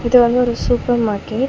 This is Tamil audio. இது வந்து ஒரு சூப்பர் மார்க்கெட் .